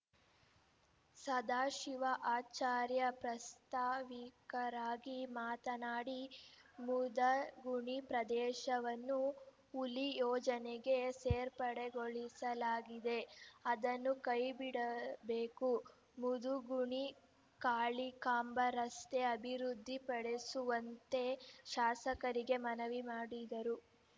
ಸದಾಶಿವ ಆಚಾರ್ಯ ಪ್ರಾಸ್ತಾವಿಕವಾಗಿ ಮಾತನಾಡಿ ಮುದಗುಣಿ ಪ್ರದೇಶವನ್ನು ಹುಲಿ ಯೋಜನೆಗೆ ಸೇರ್ಪಡೆಗೊಳಿಸಲಾಗಿದೆ ಅದನ್ನು ಕೈ ಬಿಡಬೇಕು ಮುದುಗುಣಿ ಕಾಳಿಕಾಂಬ ರಸ್ತೆ ಅಭಿವೃದ್ಧಿಪಡೆಸುವಂತೆ ಶಾಸಕರಿಗೆ ಮನವಿ ಮಾಡಿದರು